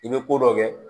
I bɛ ko dɔ kɛ